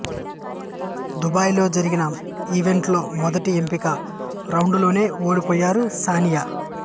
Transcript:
Dubai లో జరిగిన event లో మొదటి ఎంపిక రౌండులోనే ఓడిపోయారు సానియా